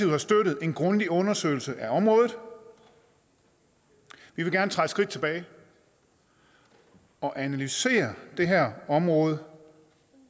har støttet en grundig undersøgelse af området vi vil gerne træde et skridt tilbage og analysere det her område